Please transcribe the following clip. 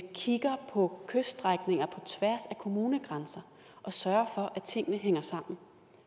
kigger på kyststrækninger af kommunegrænser og sørger for at tingene hænger sammen